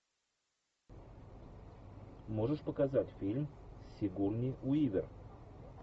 можешь показать фильм сигурни уивер